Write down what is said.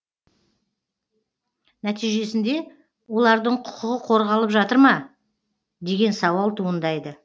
нәтижесінде олардың құқығы қорғалып жатыр ма деген сауал туындайды